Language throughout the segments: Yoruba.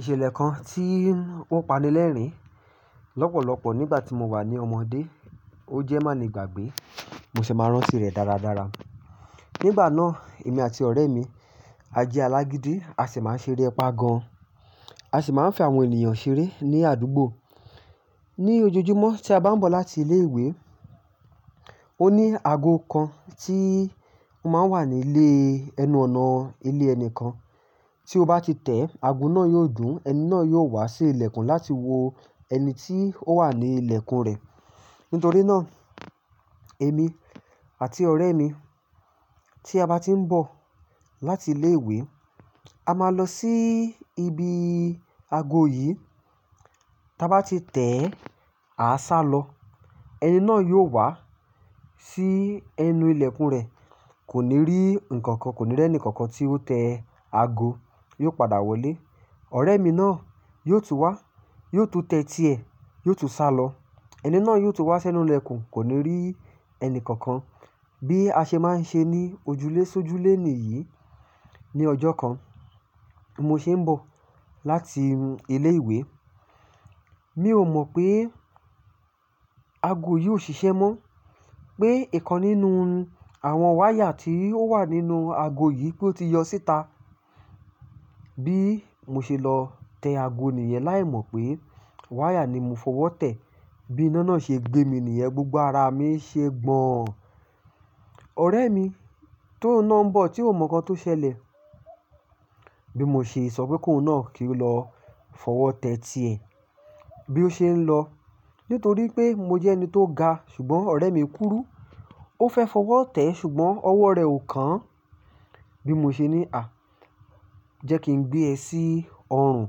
Ìṣẹ̀lẹ̀ kan tí ó pani lẹ́rìn-ín lọ́pọ̀lọpọ̀ nígbà tí mo wà ní ọmọdé, ó jẹ́ má ni ìgbàgbé, mo sì máa ń rántí rẹ̀ dáradára. Nígbà náà, èmi àti ọ̀rẹ́ mi a jẹ alágídí, a sì máa ń ṣeré ẹpa gan. A sì máa ń fẹ́ àwọn ènìyàn ṣeré ní àdúgbò. Ni ojojúmọ́ tí a bá ń bọ̀ láti ilé ìwé, ó ní ago kan tí ó máa ń wà nílé ẹnu ọ̀nà ilé ẹni kan. Tí o bá ti tẹ ago náà yóò dùn, ẹni náà yóò wá sí ilẹ̀kùn láti wo ẹni tí ó wà ní ilẹ̀kùn rẹ̀. Nítorí náà, èmi àti ọ̀rẹ́ mi tí a bá ti ń bọ̀ láti ilé ìwé, a máa lọ sí ibi ago yìí. Ta bá ti tẹ, a sá lọ. Ẹni náà yóò wá sí ẹnu ilẹ̀kùn rẹ̀, kò ní rí ǹkan kan, kò ní rí ẹnìkankan tí ó tẹ ago, yóò padà wọlé. Ọ̀rẹ́ mi náà yóò tún wá, yóò tún tẹ ti ẹ̀, yóò tún sá lọ. Ẹni náà yóò tún wá sí ẹnu ilẹ̀kùn, kò ní rí ẹni kankan. Bí a ṣe máa ń ṣe ní ojúlésójúlé nìyí. Ni ọjọ́ kan mo ṣe ń bọ̀ láti ilé ìwé, mi ò mọ̀ pé ago yìí ò ṣiṣẹ́ mọ́, pé ǹkan nínú àwọn wáyà tí ó wà nínú ago yìí pé ó ti yọ síta. Bí mo ṣe lọ tẹ ago nìyẹn, láì mọ̀ pé wáyà ni mo fọwọ́ tẹ̀. Bí iná náà ṣe gbé mi nìyẹn, gbogbo ara mi ṣe gbọ̀n. Ọ̀rẹ́ mi tó ń ná ń bọ̀, tí ò mọ̀ nǹkan tó ṣẹlẹ̀. Bí mo ṣe sọ pé "kùnú náà kí o lọ fọwọ́ tẹ ti ẹ". Bí ó ṣe ń lọ, nítorí pé mo jẹ́ ẹni tó ga ṣùgbọ́n ọ̀rẹ́ mi kúrú, ó fẹ́ fọwọ́ tẹ̀ ṣùgbọ́n ọwọ́ rẹ̀ ò kán. Bí mo ṣe ní, "à jẹ́ kí n gbé ẹ sí ọrùn".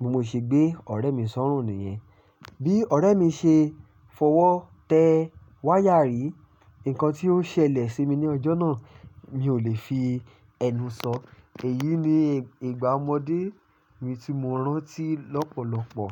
Bí mo ṣe gbé ọ̀rẹ́ mi sọ́rùn nìyẹn. Bí ọ̀rẹ́ mi ṣe fọwọ́ tẹ wáyà rí, ǹkan tí ó ṣẹlẹ̀ sí mi ní ọjọ́ náà mi ò lè fi ẹnu sọ. Èyí ni ìgbà ọmọdé mi tí mo rántí lọ́pọ̀lọpọ̀.